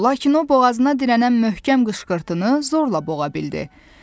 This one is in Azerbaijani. lakin o boğazına dirənən möhkəm qışqırtını zorla boğa bildi.